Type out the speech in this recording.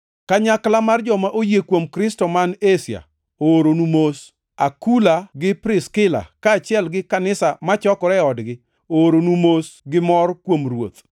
Kanyakla mar joma oyie kuom Kristo man Asia ooronu mos. Akula gi Priskila, kaachiel gi kanisa machokore e odgi, ooronu mos gi mor kuom Ruoth.